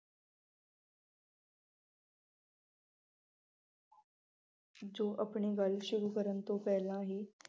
ਜੋ ਆਪਣੀ ਗੱਲ ਸ਼ੁਰੂ ਕਰਨ ਤੋਂ ਪਹਿਲਾਂ ਹੀ